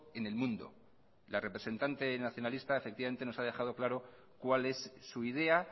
en el mundo la representante nacionalista nos ha dejado claro cuál es su idea